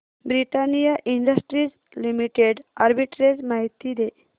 Britannia Industries Limited arbitrage माहिती दे